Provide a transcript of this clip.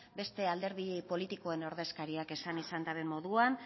beste alderdi politikoen ordezkariek esan duten moduan